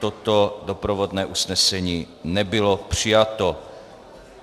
Toto doprovodné usnesení nebylo přijato.